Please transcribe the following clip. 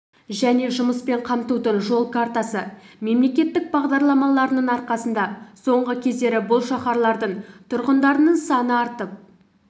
және жұмыспен қамтудың жол картасы мемлекеттік бағдарламаларының арқасында соңғы кездері бұл шаһарлардың тұрғындарының саны артып